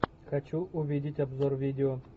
хочу увидеть обзор видео